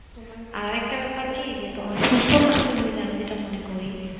আর একটা বেপার কি তোমার সুস্থ থাকতে হলে আমি যেটা মনে করি